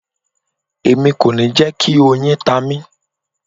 Emi ko ni jẹ ki oyin ta mi